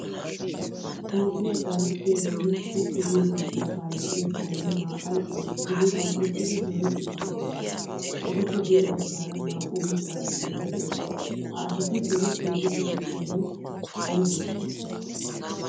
Toophphiyaa kaalettiyagenne tukke giyo biittaa kaalettiyaa bitane naa'ay diriphphan uttidi zorettidi deosona. Etappe guye baggaara naa'u biitta banddiray de'ees. Ha asati zorettidi deityobay aybeshsha?